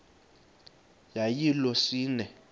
yayilolwesine iwe cawa